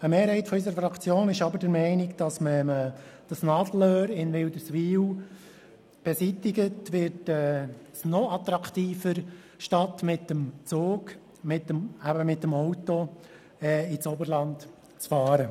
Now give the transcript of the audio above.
Eine Mehrheit unserer Fraktion ist aber der Meinung, dass es durch die Beseitigung dieses Nadelöhrs in Wilderswil noch attraktiver wird, mit dem Auto statt mit dem Zug ins Oberland zu fahren.